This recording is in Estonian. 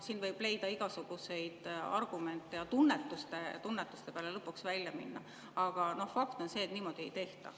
Siin võib leida igasuguseid argumente ja tunnetuse peale lõpuks välja minna, aga fakt on see, et niimoodi ei tehta.